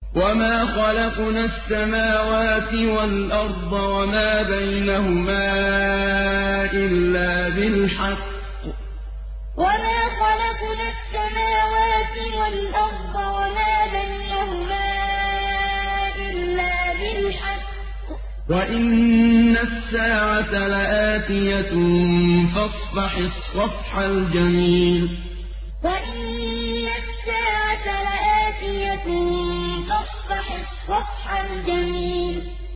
وَمَا خَلَقْنَا السَّمَاوَاتِ وَالْأَرْضَ وَمَا بَيْنَهُمَا إِلَّا بِالْحَقِّ ۗ وَإِنَّ السَّاعَةَ لَآتِيَةٌ ۖ فَاصْفَحِ الصَّفْحَ الْجَمِيلَ وَمَا خَلَقْنَا السَّمَاوَاتِ وَالْأَرْضَ وَمَا بَيْنَهُمَا إِلَّا بِالْحَقِّ ۗ وَإِنَّ السَّاعَةَ لَآتِيَةٌ ۖ فَاصْفَحِ الصَّفْحَ الْجَمِيلَ